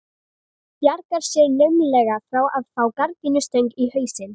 Bjargar sér naumlega frá að fá gardínustöng í hausinn.